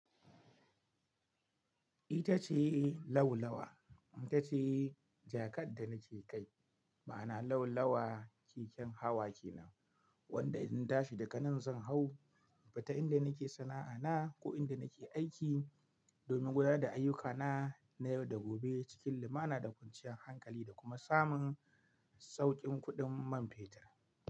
Ita ce lau lawa ita ce jakar da nake kai, ma'ana lau lawa keken hawa ke nan wanda idan na tashi daga nan zan hau, bata inda nake sana'a na ko inda nake aiki domin gudanar da ayyukana na yau da gobe cikin limana da kwanciyar hankali da kuma samun sauƙin kuɗin man fetur.